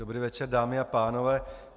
Dobrý večer, dámy a pánové.